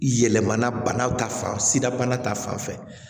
Yɛlɛmana banaw ta fan sida bana ta fanfɛ